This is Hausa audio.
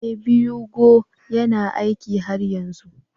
Ee, 2go yana aiki har yanzu